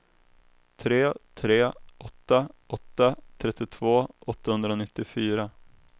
tre tre åtta åtta trettiotvå åttahundranittiofyra